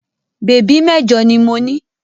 Bèbí mẹ́jọ ni mo ní.